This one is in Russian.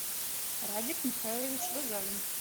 радик михайлович рузавин